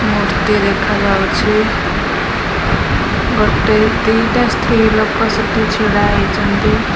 ମୂର୍ତ୍ତି ଦେଖାଯାଉଚି ଗୋଟେ ଦି ଟା ସ୍ତ୍ରୀ ଲୋକ ସେଠି ଛିଡ଼ା ହେଇଚନ୍ତି।